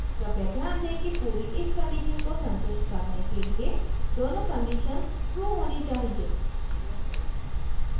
कृपया ध्यान दें कि पूरी if कंडीशऩ को संतुष्ट करने के लिए दोनों conditions true होनी चाहिए